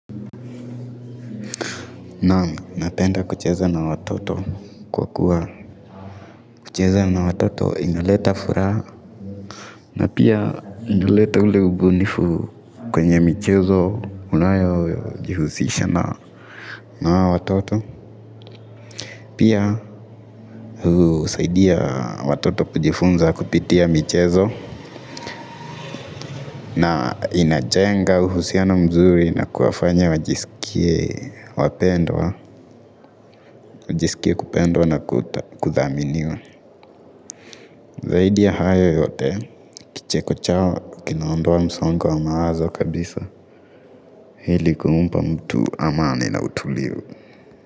Naam napenda kucheza na watoto kwa kuwa kucheza na watoto inaleta furaha na pia inaleta ule ubunifu kwenye michezo unayo jihusisha na hao watoto pia husaidia watoto kujifunza kupitia michezo na inajenga uhusiano mzuri na kuwafanya wajisikie kupendwa na kuthaminiwa zaidi ya hayo yote kicheko chao kinaondoa msongo wa mawazo kabisa. Ili kumpa mtu amani na utulivu.